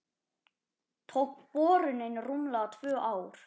Tók borunin rúmlega tvö ár.